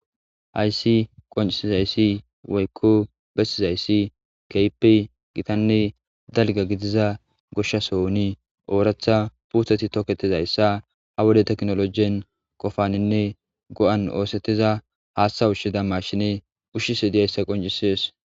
Hayssi qoncisizzayssi woykko besizzayssi kehippe gitta dalga gidida goshasoni darro puttey haywode tekinologen goyettida hatha ushizza mashinen goyettiddi ushishe deyssa qonccises.